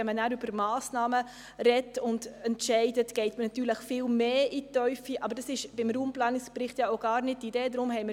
Wenn man über Massnahmen spricht und darüber entscheidet, geht man natürlich viel mehr in die Tiefe, aber das ist ja beim Raumplanungsbericht gar nicht die Idee.